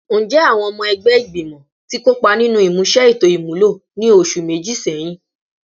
Njẹ awọn ọmọ ẹgbẹ igbimọ ti kopa ninu imuse eto imulo ni oṣu meji sẹhin?